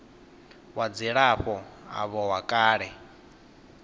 wa dzilafho avho wa kale